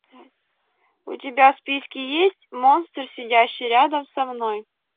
у тебя в списке есть монстр сидящий рядом со мной